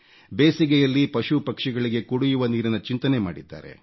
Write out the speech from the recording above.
ಬೇಸಿಗೆಯಲ್ಲಿ ಪಶುಪಕ್ಷಿಗಳಿಗೆ ಕುಡಿಯುವ ನೀರಿನ ಚಿಂತನೆ ಮಾಡಿದ್ದಾರೆ